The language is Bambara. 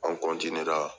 An